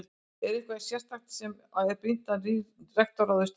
En er eitthvað sérstakt sem að er brýnt að nýr rektor ráðist í?